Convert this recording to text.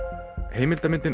heimildarmyndin